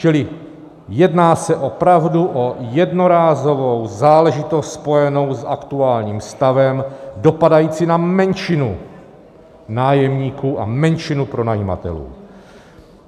Čili jedná se opravdu o jednorázovou záležitost spojenou s aktuálním stavem, dopadající na menšinu nájemníků a menšinu pronajímatelů.